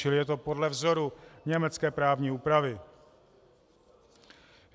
Čili je to podle vzoru německé právní úpravy.